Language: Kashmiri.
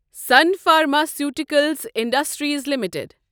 sun pharmaceuticals industries limited